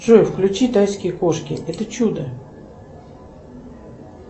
джой включи тайские кошки это чудо